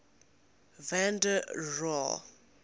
van der rohe